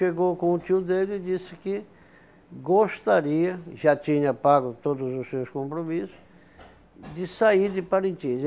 Chegou com o tio dele e disse que gostaria, já tinha pago todos os seus compromissos, de sair de Parintins.